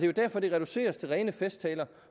jo derfor der reduceres til rene festtaler